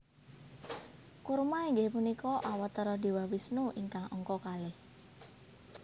Kurma inggih punika Awatara Dewa Wisnu ingkang angka kalih